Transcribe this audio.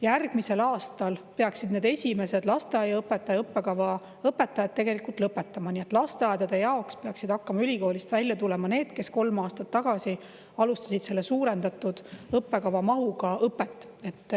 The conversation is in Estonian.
Järgmisel aastal peaksid need esimesed lasteaiaõpetaja õppekava õpetajad lõpetama, nii et lasteaedade jaoks peaksid hakkama ülikoolist välja tulema need, kes kolm aastat tagasi alustasid selle suurendatud õppekava mahuga õpet.